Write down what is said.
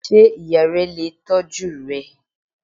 Sé ìya re lè tójú rẹ?